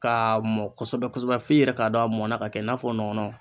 K'a mɔn kosɛbɛ kosɛbɛ f'i yɛrɛ k'a dɔn a mɔnna ka kɛ i n'a fɔ nɔnɔ.